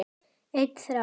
Einn þráður.